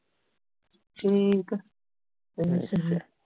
ਠੀਕ